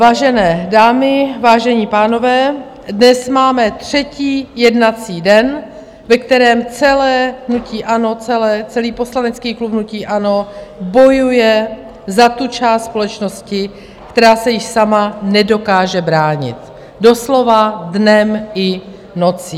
Vážené dámy, vážení pánové, dnes máme třetí jednací den, ve kterém celé hnutí ANO, celý poslanecký klub hnutí ANO, bojuje za tu část společnosti, která se již sama nedokáže bránit, doslova dnem i nocí.